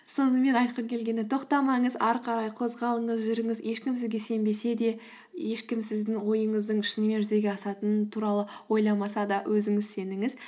сонымен айтқым келгені тоқтамаңыз ары қарай қозғалыңыз жүріңіз ешкім сізге сенбесе де ешкім сіздің ойыңыздың шынымен жүзеге асатынын туралы ойламаса да өзіңіз сеніңіз